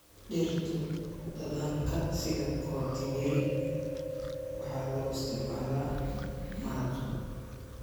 Dhirtu dhadhanka sida kotimiri waxaa loo isticmaalaa maraq.